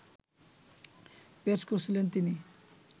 পেশ করেছিলেন তিনি